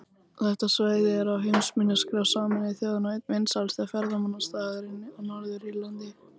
Þetta svæði er á heimsminjaskrá Sameinuðu þjóðanna og einn vinsælasti ferðamannastaðurinn á Norður-Írlandi.